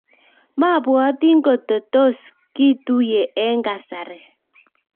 Mabwoti ngo tos kituiye eng kasari